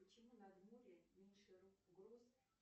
почему над морем меньше гроз